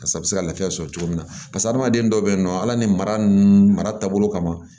Barisa a bɛ se ka lafiya sɔrɔ cogo min na barisa hadamaden dɔw bɛ yen nɔ ala ni mara taabolo kama